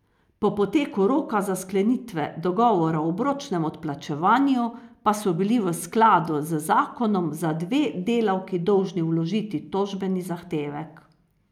Po poteku roka za sklenitve dogovora o obročnem odplačevanju pa so bili v skladu z zakonom za dve delavki dolžni vložiti tožbeni zahtevek.